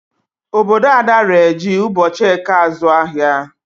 Obodo Ada ree ji ụbochị eke azụ ahịa.